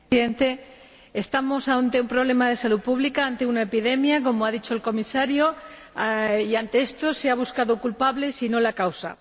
Señor Presidente, estamos ante un problema de salud pública, ante una epidemia, como ha dicho el Comisario, y, ante esto, se han buscando culpables y no la causa.